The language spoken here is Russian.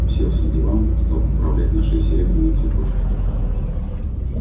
уселся на диван стал поправлять на шее серебряную цепочку